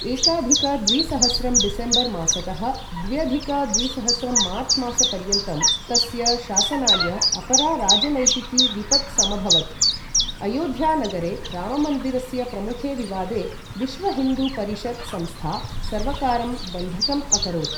एकाधिक द्विसहस्रं डिसेम्बर् मासतः द्व्यधिक द्विसहस्रं मार्च् मासपर्यन्तं तस्य शासनाय अपरा राजनैतिकी विपत् समभवत्, अयोध्या नगरे राममन्दिरस्य प्रमुखे विवादे विश्व हिन्दु परिषत् संस्था सर्वकारं बन्धकम् अकरोत्।